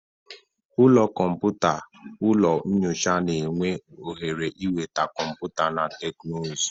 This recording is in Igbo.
Ụlọ kọmpụta/ụlọ nyocha na-enye ohere ịnweta kọmputa na teknụzụ.